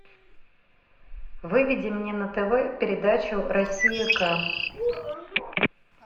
выведи мне на тв передачу россия ка